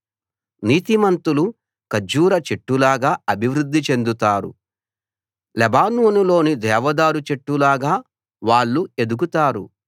నీతిమంతులు ఖర్జూర చెట్టులాగా అభివృద్ధి చెందుతారు లెబానోనులోని దేవదారు చెట్టులాగా వాళ్ళు ఎదుగుతారు